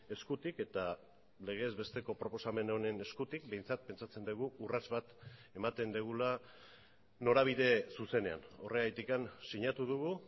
eskutik eta legez besteko proposamen honen eskutik behintzat pentsatzen dugu urrats bat ematen dugula norabide zuzenean horregatik sinatu dugu